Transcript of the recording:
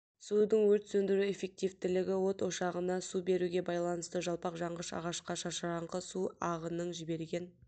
судың өрт сөндіру эффективтілігі от ошағына су беруге байланысты жалпақ жанғыш ағашқа шашыранқы су ағының жіберген